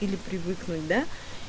или ипривыкнуть да